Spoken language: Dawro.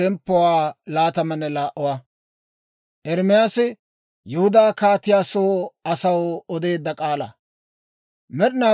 Med'inaa Goday hawaadan yaagee; «Ba; duge Yihudaa kaatiyaa golle baade, yan ha k'aalaa oda.